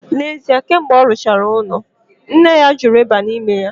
N'ezi kemgbe olu chara ulo ya, nne ya juru iba nime ya.